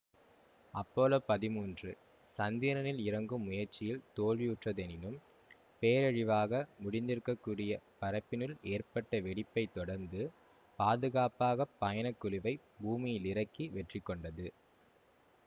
Apollo பதிமூன்று சந்திரனில் இறங்கும் முயற்சியில் தோல்வியுற்றதெனினும் பேரழிவாக முடிந்திருக்கக்கூடிய பறப்பினுள் ஏற்பட்ட வெடிப்பை தொடர்ந்து பாதுகாப்பாகப் பயணக்குழுவைப் பூமியிலிறக்கி வெற்றிகண்டது